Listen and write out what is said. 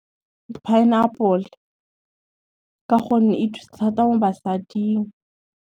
Pineapple, ka gonne e thusa thata mo basading.